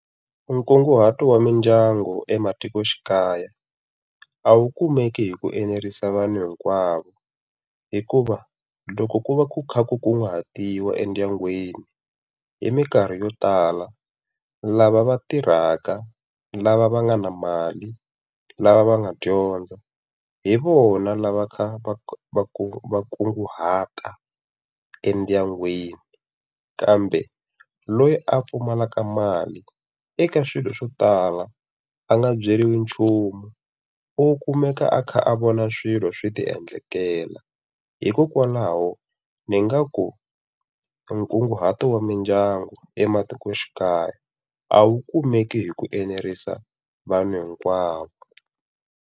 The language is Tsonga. Nkunguhato wa mindyangu ematikoxikaya a wu kumeki hi ku enerisa vanhu hinkwavo hikuva loko ku va ku kha ku kunguhatiwa endyangwini hi minkarhi yo tala, lava va tirhaka, lava va nga na mali, lava va nga dyondza, hi vona lava kha va kunguhata va kunguhata endyangwini. Kambe loyi a pfumalaka mali eka swilo swo tala a nga byeriwi nchumu, u kumeka a kha a vona swilo swi ti endlekela. Hikokwalaho ni ngaku nkunguhato wa mindyangu ematikoxikaya, a wu kumeki hi ku enerisa vanhu hinkwavo.